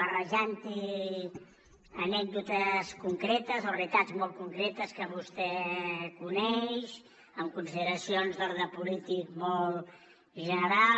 barrejant hi anècdotes concretes o realitats molt concretes que vostè coneix amb consideracions d’ordre polític molt general